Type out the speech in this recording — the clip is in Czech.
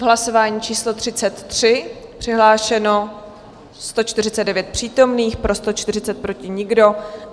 V hlasování číslo 33 přihlášeno 149 přítomných, pro 140, proti nikdo.